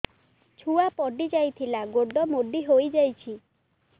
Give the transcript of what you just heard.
ଛୁଆ ପଡିଯାଇଥିଲା ଗୋଡ ମୋଡ଼ି ହୋଇଯାଇଛି